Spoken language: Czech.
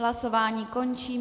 Hlasování končím.